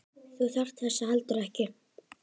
Þú þarft þess heldur ekki.